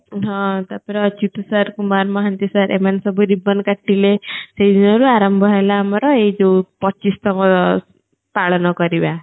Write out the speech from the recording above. ହଁ ତାପରେ ଆଉ ଅଚ୍ୟୁଟ sir କୁମାର ମହାନ୍ତି sir ଏ ମାନେ ସବୁ ribbon କାଟିଲେ ସେଇ ଦିନରୁ ଆରାମ୍ଭ ହେଲା ଆମର ଏଇ ଜ ପଚିଶତମ ପାଳନ କରିବା